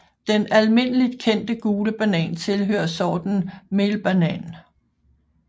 Den almindeligt kendte gule banan tilhører sorten melbanan